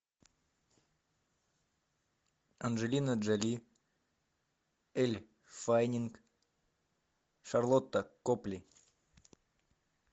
анджелина джоли эль фаннинг шарлотта копли